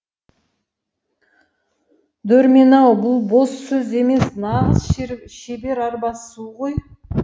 дөрмен ау бұл бос сөз емес нағыз шебер арбасу ғой